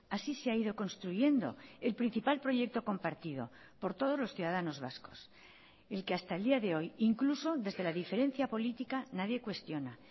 así se ha ido construyendo el principal proyecto compartido por todos los ciudadanos vascos el que hasta el día de hoy incluso desde la diferencia política nadie cuestiona